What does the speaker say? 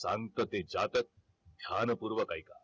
शांतते जातक ध्यानपूर्वक ऐका